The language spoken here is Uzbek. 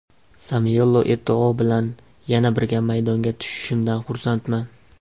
Samuel Eto‘O bilan yana birga maydonga tushishimdan xursandman.